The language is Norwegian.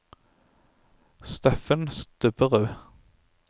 Steffen Stubberud